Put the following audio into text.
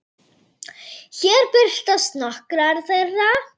Hér birtast nokkrar þeirra.